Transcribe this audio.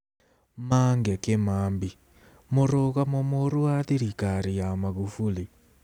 Mange Kĩmambi: Mũrũgamo Mũru wa Thirikari ya Magufuli